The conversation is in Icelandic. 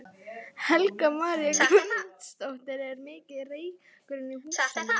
Helga María Guðmundsdóttir: Er mikill reykur inni í húsinu?